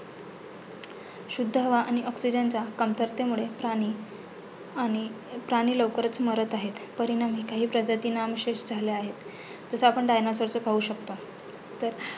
शुद्ध हवा आणि oxygen च्या कमतरतेमुळे प्राणी आणि प्राणी लवकरचं मरत आहे परिणामी काही प्रजाती नामशेष झाल्या आहेत, जसे आपण dinosaur चं पाहु शकतो.